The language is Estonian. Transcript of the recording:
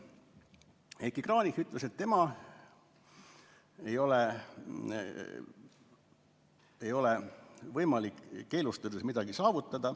Heiki Kranich ütles, et tema arvates ei ole võimalik keelustades midagi saavutada.